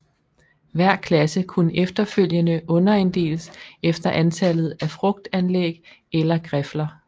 Hver klasse kunne efterfølgende underinddeles efter antallet af frugtanlæg eller grifler